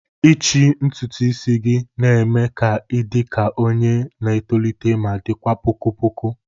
ichi ntutu isi gị na-eme ka ị dị ka onye na-etolite ma dịkwa poko poko